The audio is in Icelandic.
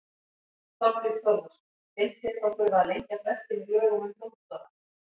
Þorbjörn Þórðarson: Finnst þér þá þurfa að lengja frestinn í lögum um dómstóla?